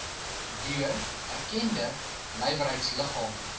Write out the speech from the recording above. deur erkende nywerheidsliggame